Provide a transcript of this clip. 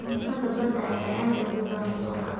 Cuntada badda ayaa aad ugu badan suuqa.